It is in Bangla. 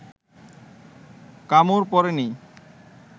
কামড় পড়ে নি